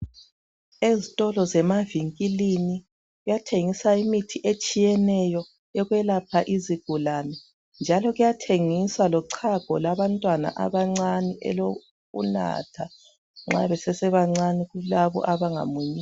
Ezitolo zemavinkilini kuyathengiswa imithi etshiyeneyo eyokukwelapha izigulane. Njalo kuyathengiswa lochago lwabantwan abancane olokunatha nxa besesebancane kulabo abangamunyiyo.